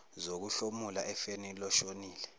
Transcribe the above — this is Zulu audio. zokuhlomula efeni loshonile